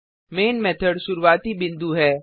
man method शुरूवाती बिन्दु है